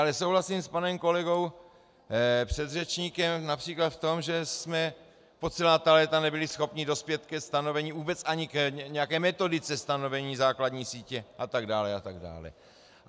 Ale souhlasím a panem kolegou předřečníkem například v tom, že jsme po celá ta léta nebyli schopni dospět ke stanovení, vůbec ani k nějaké metodice stanovení základní sítě atd. atd.